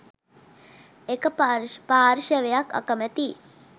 එක පාර්ශවයක් අකමැතියි.